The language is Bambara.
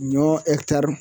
Ɲɔ ɛkitari